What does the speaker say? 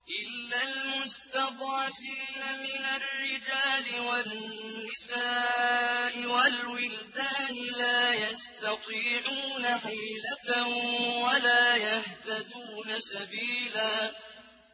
إِلَّا الْمُسْتَضْعَفِينَ مِنَ الرِّجَالِ وَالنِّسَاءِ وَالْوِلْدَانِ لَا يَسْتَطِيعُونَ حِيلَةً وَلَا يَهْتَدُونَ سَبِيلًا